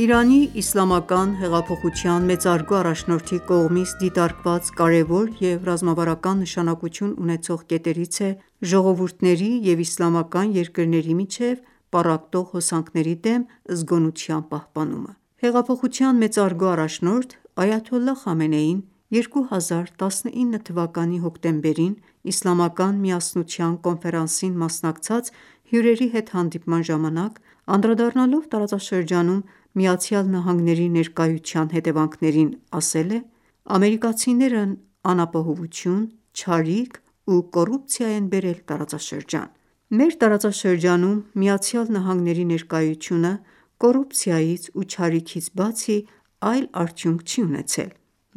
Իրանի իսլամական հեղափոխության մեծարգո առաջնորդի կողմից դիտարկված կարևոր և ռազմավարական նշանակություն ունեցող կետերից է՝ ժողովուրդների և իսլամական երկրների միջև պառակտող հոսանքների դեմ զգոնության պահպանումը: Հեղափոխության մեծարգո առաջնորդ Այաթոլլահ Խամենեին 2019 թվականի հոկտեմբերին Իսլամական միասնության կոնֆերանսին մասնակցած հյուրերի հետ հանդիպման ժամանակ, անդրադառնալով տարածաշրջանում ԱՄՆ-ի ներկայության հետևանքներին, ասել է․ «Ամերիկացիներն անապահովություն, չարիք ու կոռուպցիա են բերել տարածաշրջան»։ «Մեր տարածաշրջանում ԱՄՆ-ի ներկայությունը կոռուպցիայից ու չարիքից բացի այլ արդյունք չի ունեցել։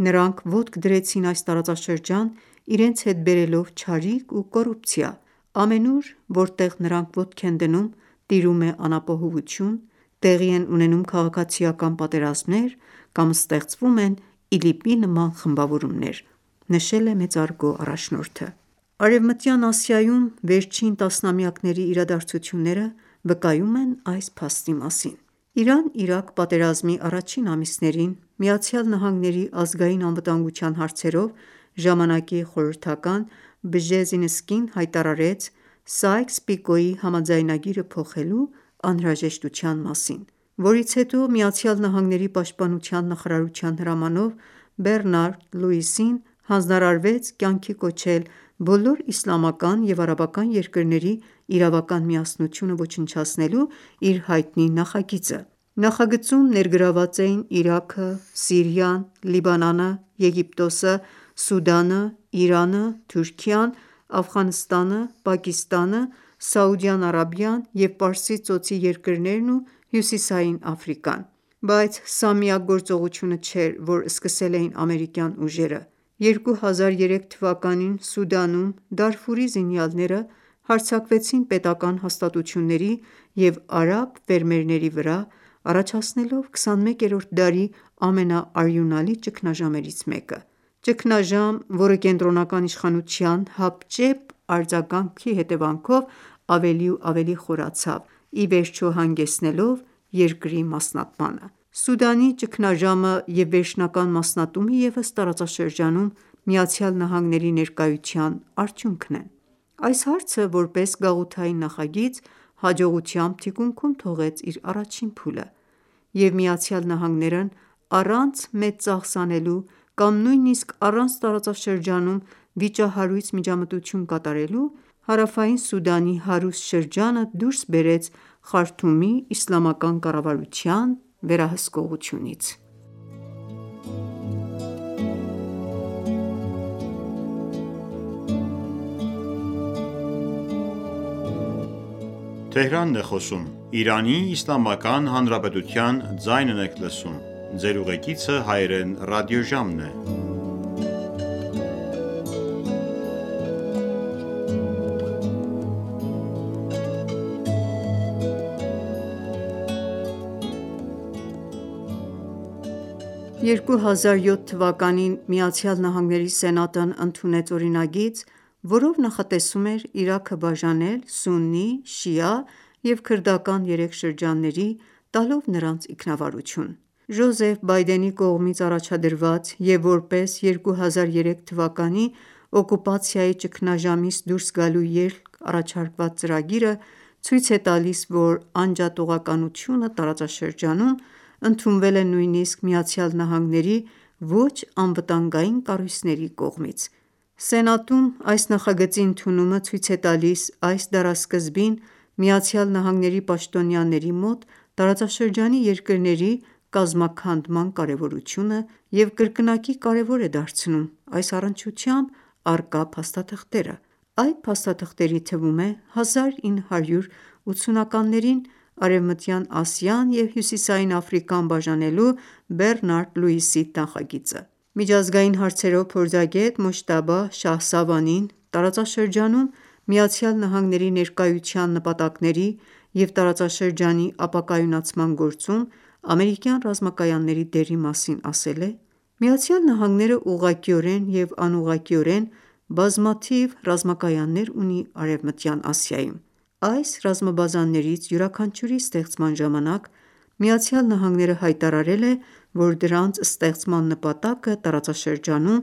Նրանք ոտք դրեցին այս տարածաշրջան, իրենց հետ բերելով չարիք ու կառուպցիա։ Ամենուր որտեղ նրանք ոտք են դնում, տիրում է անապահովություն, տեղի են ունենում քաղաքացիական պատերազմներ կամ ստեղծվում են ԻԼԻՊ-ի նման խմբավորումներ», նշել է մեծարգո առաջնորդը։ Արևմտյան Ասիայում վերջին տասնամյակների իրադարձությունները վկայում են այս փաստի մասին: Իրան-Իրաք պատերազմի առաջին ամիսներին ԱՄՆ ազգային անվտանգության հարցերով ժամանակի խորհրդական Բժեզինսկին հայտարարեց Սայքս-Պիկոյի համաձայնագիրը փոխելու անհրաժեշտության մասին, որից հետո ԱՄՆ պաշտպանության նախարարության հրամանով Բեռնարդ Լուիսին հանձնարարվեց կյանքի կոչել բոլոր իսլամական և արաբական երկրների իրավական միասնությունը ոչնչացնելու իր հայտնի նախագիծը։ Նախագծում ներգրավված էին Իրաքը, Սիրիան, Լիբանանը, Եգիպտոսը, Սուդանը, Իրանը, Թուրքիան, Աֆղանստանը, Պակիստանը, Սաուդյան Արաբիան և Պարսից ծոցի երկրներն ու Հյուսիսային Աֆրիկան: Բայց սա միակ գործողությունը չէր, որ սկսել էին ամերիկյան ուժերը։ 2003 թվականին Սուդանում զինյալները հարձակվեցին պետական հաստատությունների և արաբ ֆերմերների վրա՝ առաջացնելով 21-րդ դարի ամենաարյունալի ճգնաժամերից մեկը: Ճգնաժամ, որը կենտրոնական իշխանության հապճեպ արձագանք հետևանքով ավելի ու ավելի խորացավ, ի վերջո հանգեցնելով երկրի մասնատմանը։ Սուդանի ճգնաժամը և վերջնական մասնատումը ևս տարածաշրջանում ԱՄՆ ներկայության արդյունքն են։ Այս հարցը, որպես գաղութային նախագիծ, հաջողությամբ թիկունքում թողեց իր առաջին փուլը, և Միացյալ Նահանգներն առանց մեծ ծախս անելու կամ նույնիսկ առանց տարածաշրջանում վիճահարույց միջամտություն կատարելու, հարավային Սուդանի հարուստ շրջանը դուրս բերեց Խարթումի իսլամական ​​կառավարության վերահսկողությունից։ 2007 թվականին ԱՄՆ Սենատն ընդունեց օրինագիծ, որով նախատեսում էր Իրաքը բաժանել սուննի, շիա և քրդական երեք շրջանների՝ տալով նրանց ինքնավարություն: Ջոզեֆ Բայդենի կողմից առաջադրված և որպես 2003 թվականի օկուպացիայի ճգնաժամից դուրս գալու ելք առաջարկված ծրագիրը ցույց է տալիս, որ անջատողականությունը տարածաշրջանում ընդունվել է նույնիսկ ԱՄՆ ոչ-անվտանգային կառույցների կողմից։ Սենատում այս նախագծի ընդունումը ցույց է տալիս այս դարասկզբին ԱՄՆ-ի պաշտոնյաների մոտ տարածաշրջանի երկրների կազմաքանդման կարևորությունը և կրկնակի կարևոր է դարձնում այս առնչությամբ առկա փաստաթղթերը։ Այդ փաստաթղթերի թվում է 1980-ականներին Արևմտյան Ասիան և Հյուսիսային Աֆրիկան ​​բաժանելու Բեռնարդ Լուիսի նախագիծը: Միջազգային հարցերով փորձագետ Մոջթաբա Շահսավանին տարածաշրջանում ԱՄՆ ներկայության նպատակների և տարածաշրջանի ապակայունացման գործում ամերիկյան ռազմակայանների դերի մասին ասել է․ «ԱՄՆ-ն ուղղակիորեն և անուղղակիորեն բազմաթիվ ռազմակայաններ ունի Արևմտյան Ասիայում։ Այս ռազմաբազաներից յուրաքանչյուրի ստեղծման ժամանակ ԱՄՆ-ն հայտարարել է, որ դրանց ստեղծման նպատակը տարածաշրջանում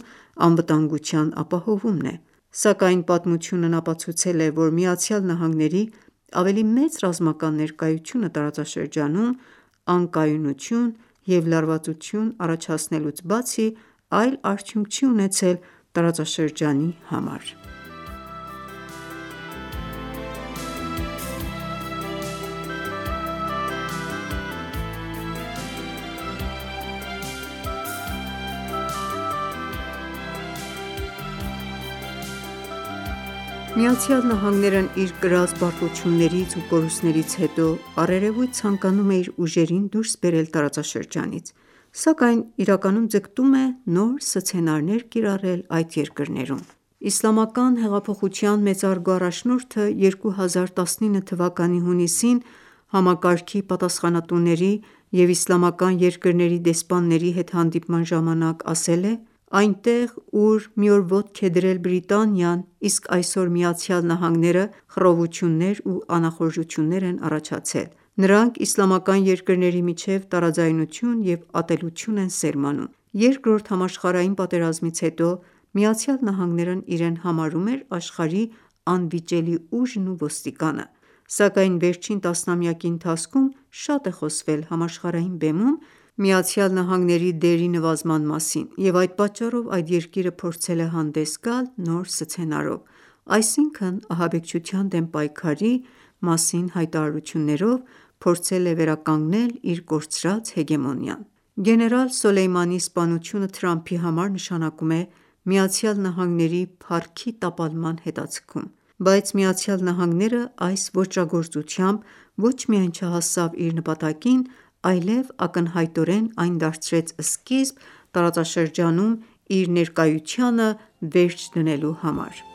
անվտանգության ապահովումն է, սակայն պատմությունն ապացուցել է, որ ԱՄՆ-ի ավելի մեծ ռազմական ներկայությունը տարածաշրջանում անկայունություն և լարվածության առաջացնելուց բացի, այլ արդյունք չի ունեցել տարածաշրջանի համար»։ ԱՄՆ-ն իր կրած պարտություններից ու կորուստներից հետո առերևույթ ցանկանում է իր ուժերին դուրս բերել տարածաշրջանից, սակայն իրականում ձգտում է նոր սցենարներ կիրառել այդ երկրներում։ Իսլամական հեղափոխության մեծարգո առաջնորդը 2019 թվականի հունիսին համակարգի պատախանատուների և իսլամական երկրների դեսպանների հետ հանդիպման ժամանակ ասել է. «Այնտեղ, ուր մի օր ոտք է դրել Բրիտանիան, իսկ այսօր՝ ԱՄՆ-ը, խռովություններ ու անախորժություններ են առաջացել ։ Նրանք իսլամական երկրների միջև տարաձայնություն ու ատելություն են սերմանում»: Երկրորդ համաշխարհային պատերազմից հետո ԱՄՆ-ն իրեն համարում էր աշխարհի անվիճելի ուժն ու ոստիկանը, սակայն վերջին տասնամյակի ընթացքում շատ է խոսվել համաշխարհային բեմում Միացյալ Նահանգների դերի նվազման մասին, և այդ պատճառով այդ երկիրը փորձել է հանդես գալ նոր սցենարով, այսինքն՝ «ահաբեկչության դեմ պայքարի7 մասին հայտարարություններով փորձել վերականգնել իր կորցրած հեգեմոնիան։ Գեներալ Սոլեյմանիի սպանությունը Թրամփի համար նշանակում է ԱՄՆ-ի փառքի տապալման հետաձգում, բայց ԱՄՆ-ն այս ոճրագործությամբ ոչ միայն չհասավ իր նպատակին, այլև ակնհայտորեն այն դարձրեց սկիզբ՝ տարածաշրջանում իր ներկայությանը վերջ դնելու համար։